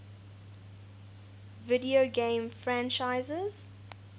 video game franchises